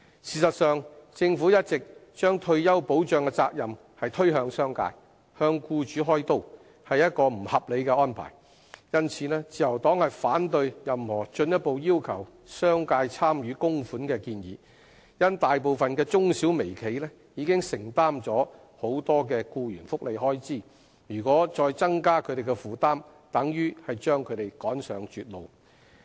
事實上，政府一直把退休保障的責任推向商界，向僱主開刀，是不合理的安排，因此自由黨反對任何進一步要求商界參與供款的建議，因為大部分中小微企已承擔了很多僱員福利開支，如果再增加他們的負擔，等於把他們趕上絕路。